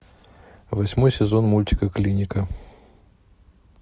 восьмой сезон мультика клиника